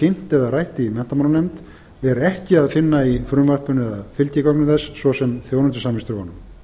kynnt eða rætt í menntamálanefnd er ekki að finna í frumvarpinu eða fylgigögnum þess svo sem þjónustusamningsdrögunum